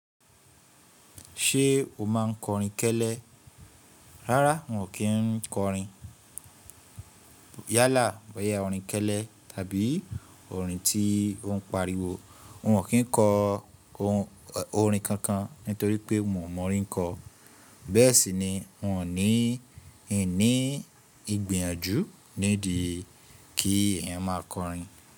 Ṣé o máa ń kọ orin kẹ́lẹ́? Rárá, n ò kí ń kọ orin. Yálà, bóyá orin kẹ́lẹ́ tàbí orin tí ó ń pariwo. N ò kí ń kọ orin kankan nítorí pé mi ò mọ̀ orin kọ. Bẹ́ẹ̀ sì ni, n ò ní ìní ìgbìyànjú nídìí kí èèyàn máa kọ orin.